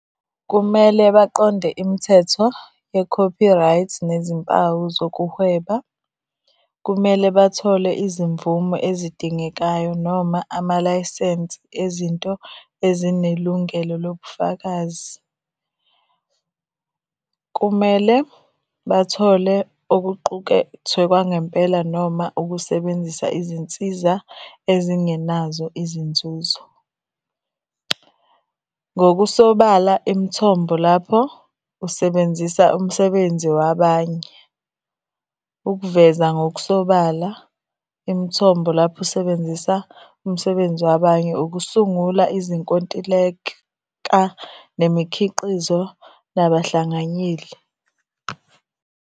Kumele baqonde imithetho ye-copyright nezimpawu zokuhweba. Kumele bathole izimvume ezidingekayo noma amalayisensi ezinto ezinelungelo lobufakazi. Kumele bathole okuqukethwe kwangempela noma ukusebenzisa izinsiza ezingenazo izinzuzo. Ngokusobala imithombo lapho usebenzisa umsebenzi wabanye. Ukuveza ngokusobala imithombo lapho usebenzisa umsebenzi wabanye ukusungula izinkontileka, nemikhiqizo, nabahlanganyeli.